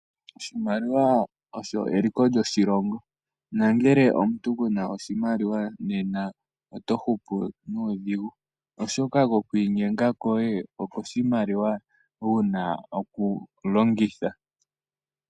Oshimaliwa osho eliko lyo shilongo, nongele omuntu kena oshimaliwa nena oto hupu nuudhigu, oshoka ko kwiinyenga koye oko shimaliwa wuna oku longitha.